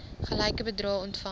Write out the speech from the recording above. gelyke bedrae ontvang